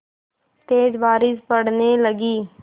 तेज़ बारिश पड़ने लगी